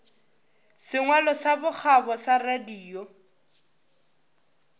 sengwalo sa bokgabo sa radio